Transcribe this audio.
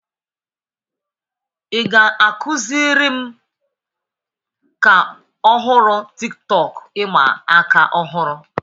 Ị ga-akụziri m ka ọhụrụ Tiktọk ịma aka ọhụrụ?